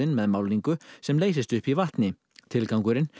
með málningu sem leysist upp í vatni tilgangurinn